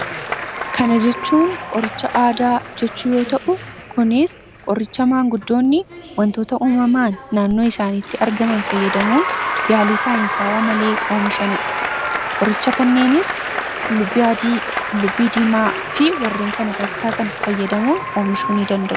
kana jechuun qoricha aadaa jechuu yoo ta'u. kunis qoricha maanguddoonni wantoota uumamaan naannoo isaanitti argaman fayyadamuun yaalii saa'insaawaa malee oomishaniidha. qoricha kanneenis qullubbii dimaa fi warreen kana fakkaatan fayyadamuun oomishuun danda'u.